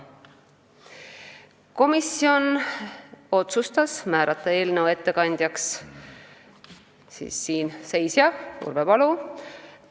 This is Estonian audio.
Komisjon otsustas konsensuslikult määrata eelnõu ettekandjaks siinseisja, Urve Palo.